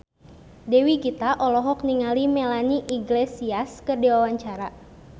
Dewi Gita olohok ningali Melanie Iglesias keur diwawancara